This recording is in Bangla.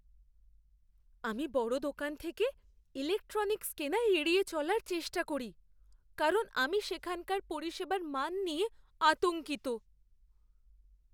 আমি বড় দোকান থেকে ইলেকট্রনিক্স কেনা এড়িয়ে চলার চেষ্টা করি কারণ আমি সেখানকার পরিষেবার মান নিয়ে আতঙ্কিত।